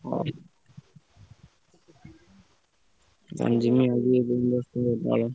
ହଉ ଆଉ ଜିମି ଆଜି ।